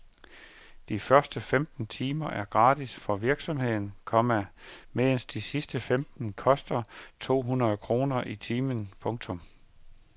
De første femten timer er gratis for virksomheden, komma mens de sidste femten koster to hundrede kroner i timen. punktum